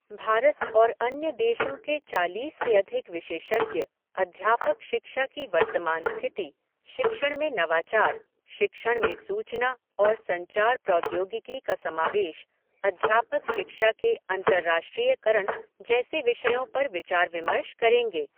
भारत और अन्य देशों के चालीस से अधिक विशेषज्ञ, अध्यापक शिक्षा की वर्तमान स्थिति, शिक्षण में नवाचार, शिक्षण में सूचना और संचार प्रौद्योगिकी का समावेश, अध्यापक शिक्षा के अंतरराष्ट्रीयकरण जैसे विषयों पर विचार विमर्श करेंगे।